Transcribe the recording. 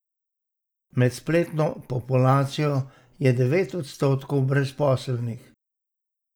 Med spletno populacijo je devet odstotkov brezposelnih.